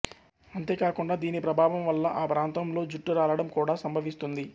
అంతేకాకుండా దీని ప్రభావం వల్ల ఆ ప్రాంతంలో జుట్టు రాలడం కూడా సంభవిస్తుంది